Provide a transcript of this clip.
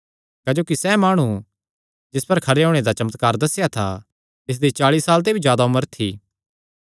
क्जोकि सैह़ माणु जिस पर खरे होणे दा चमत्कार दस्सेया था तिसदी चाल़ी साल ते भी जादा उम्र थी